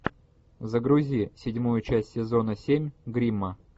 загрузи седьмую часть сезона семь гримма